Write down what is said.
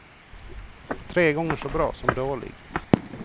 Tre gånger så bra som dålig.